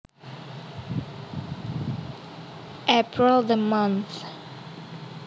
April the month